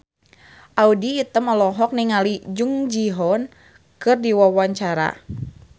Audy Item olohok ningali Jung Ji Hoon keur diwawancara